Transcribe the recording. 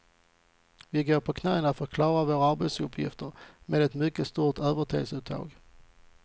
Vi går på knäna för att klara våra arbetsuppgifter, med ett mycket stort övertidsuttag.